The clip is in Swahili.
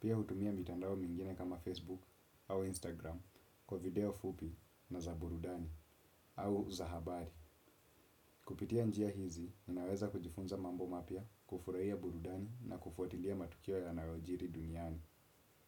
pia hutumia mitandao mwingine kama Facebook au Instagram kwa video fupi na za burudani au za habari. Kupitia njia hizi, ninaweza kujifunza mambo mapya, kufurahia burudani na kufuatilia matukio ya nayojiri duniani.